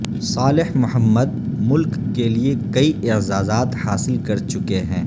صالح محمد ملک کے لیئے کئی اعزازات حاصل کر چکے ہیں